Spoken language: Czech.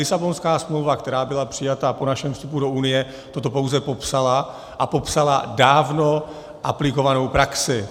Lisabonská smlouva, která byla přijata po našem vstupu do Unie, toto pouze popsala a popsala dávno aplikovanou praxi.